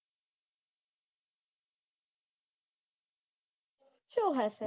શું હશે?